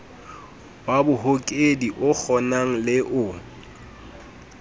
wa bohokedi okgonang le o